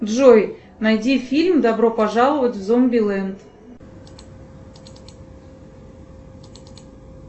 джой найди фильм добро пожаловать в зомби ленд